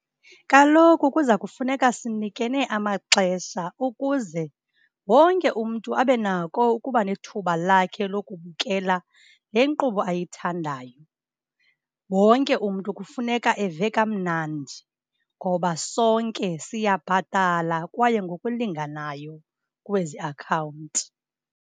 Kaloku kuza kufuneka sinikene amaxesha ukuze wonke umntu abe nako ukuba nethuba lakhe lokubukela le nkqubo ayithandayo. Wonke umntu kufuneka eve kamnandi, ngoba sonke siyabhatala kwaye ngokulinganayo kwezi akhawunti.